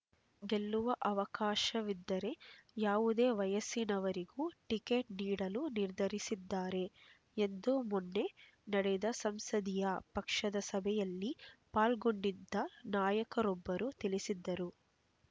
ಗೆಲ್ಲುವ ಅವಕಾಶವಿದ್ದರೆ ಯಾವುದೇ ವಯಸ್ಸಿನವರಿಗೂ ಟಿಕೆಟ್ ನೀಡಲು ನಿರ್ಧರಿಸಿದ್ದಾರೆ ಎಂದು ಮೊನ್ನೆ ನಡೆದ ಸಂಸದೀಯ ಪಕ್ಷದ ಸಭೆಯಲ್ಲಿ ಪಾಲ್ಗೊಂಡಿದ್ದ ನಾಯಕರೊಬ್ಬರು ತಿಳಿಸಿದರು